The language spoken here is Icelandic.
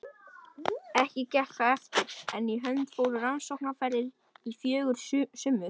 Ekki gekk það eftir, en í hönd fóru rannsóknaferðir í fjögur sumur.